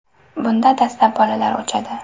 Bunda dastlab bolalar o‘chadi.